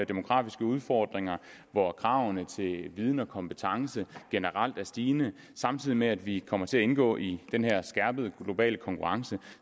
demografiske udfordringer hvor kravene til viden og kompetence generelt er stigende samtidig med at vi kommer til at indgå i den her skærpede globale konkurrence